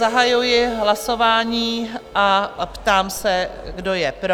Zahajuji hlasování a ptám se, kdo je pro?